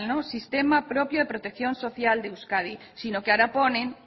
sistema propio de protección social de euskadi sino que ahora pone